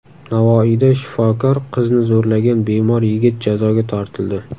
Navoiyda shifokor qizni zo‘rlagan bemor yigit jazoga tortildi.